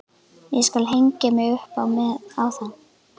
Ég skal hengja mig upp á það!